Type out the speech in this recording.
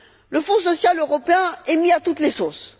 Le Fonds social européen est mis à toutes les sauces.